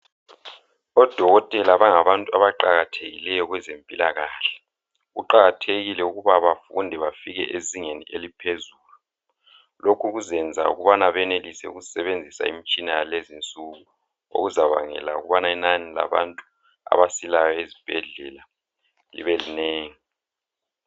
ODokotela bangabantu abaqakathekileyo kwezempilakahle. Kuqakathekile ukuba bafunde bafike ezingeni eliphezulu. Lokhu kuzenza ukubana benelise ukusebenzisa imitshina yalezinsuku okuzabangela ukubana inani labantu abasilayo ezibhedlela libelinengi.